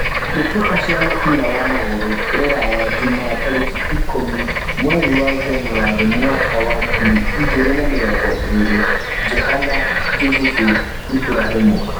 Mbĩ tĩ ka cia mũbira wa magũrũ Ruraya Jumaa tarĩ ki ikũmi mweri wa Njanũari waka wa ngiri igĩ rĩ na mĩ rongo ĩ rĩ : Johana, Juthufu, Iburahĩ mu